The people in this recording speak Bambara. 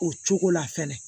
O cogo la fɛnɛ